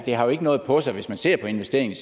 har noget på sig hvis man ser på investeringerne